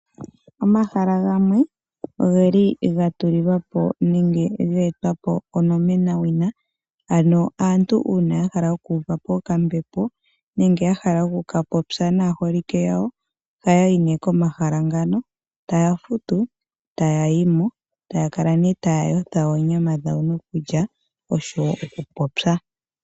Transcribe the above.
Omahala gamwe ogeli gatulilwa po nenge geetwa po onomena wina, ano aantu uuna yahala oku uva po okambepo nenge yahala oku ka popya naaholike yawo, ohaya yi nee komahala ngano, taya futu, e taya yi mo , e taya kala nee taya yothwa oonyama dhawo nokulya osho woo oku popya.